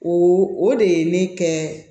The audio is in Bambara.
O o de ye ne kɛ